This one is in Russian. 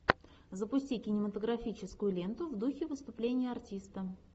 запусти кинематографическую ленту в духе выступления артиста